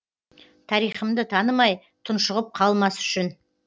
тарихымды танымай тұншығып қалмас үшін